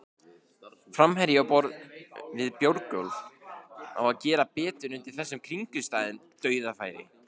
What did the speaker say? Framherji á borð við Björgólf á þó að gera betur undir þessum kringumstæðum, dauðafæri!